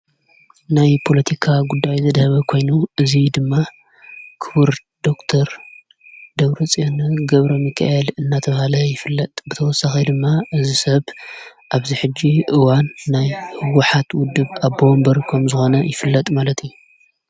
ናይ ፖሎቲካ ጕዳይ ዘደኅበ ኾይኑ እዙይ ድማ ክቡር ዶር ደብረጽዮን ገብረሚከኤል እናተብሃለ ይፍለጥ ብተወሳኸ ድማ እዝ ሰብ ኣብዝሕጅ እዋን ናይ ሕወኃት ውድብ ኣቦ ወምበር ከም ዝኾነ ይፍለጥ ማለት እዩ።